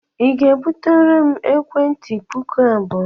Ị ga-ebutere m ekwentị puku abụọ?